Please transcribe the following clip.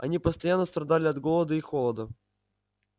они постоянно страдали от голода и холода